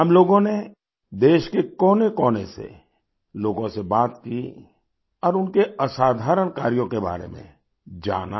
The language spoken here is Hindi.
हम लोगों ने देश के कोनेकोने से लोगों से बात की और उनके असाधारण कार्यों के बारे में जाना